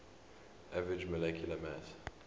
average molecular mass